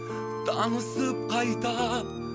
танысып қайта